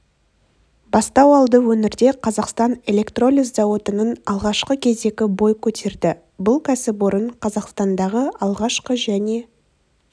бастау алды өңірде қазақстан электролиз зауытының алғашқы кезегі бой көтерді бұл кәсіпорын қазақстандағы алғашқы және